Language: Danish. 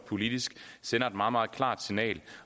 politisk sender et meget meget klart signal